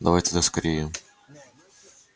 давай тогда скорее